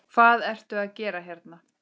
Hvað ertu að gera hérna?